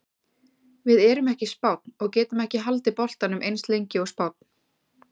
Við erum ekki Spánn og getum ekki haldið boltanum eins lengi og Spánn.